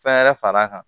Fɛn wɛrɛ far'a kan